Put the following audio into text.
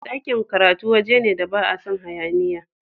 Dakin karatu wajene da ba a san hayaniya.